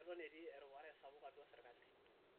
Keton etii erupare sapuk atua serkali